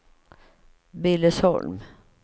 Billesholm